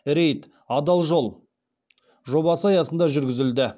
рейд адал жол жобасы аясында жүргізілді